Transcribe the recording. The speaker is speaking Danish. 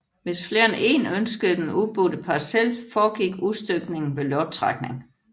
Hvis flere end èn ønskede den udbudte parcel foregik udstykningen ved lodtrækning